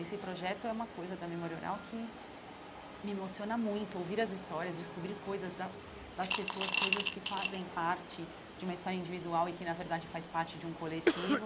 Esse projeto é uma coisa da Memória Oral que me emociona muito, ouvir as histórias, descobrir coisas da das pessoas, coisas que fazem parte de uma história individual e que, na verdade, faz parte de um coletivo.